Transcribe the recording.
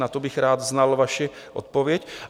Na to bych rád znal vaši odpověď.